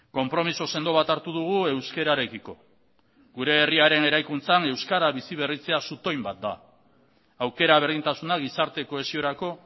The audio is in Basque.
konpromiso sendo bat hartu dugu euskararekiko gure herriaren eraikuntzan euskara biziberritzea zutoin bat da aukera berdintasuna gizarte kohesiorako